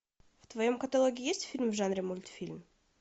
в твоем каталоге есть фильм в жанре мультфильм